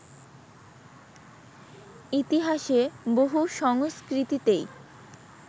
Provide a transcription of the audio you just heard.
ইতিহাসে বহু সংস্কৃতিতেই